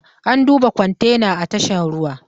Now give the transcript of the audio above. An duba kwantena a tashar ruwa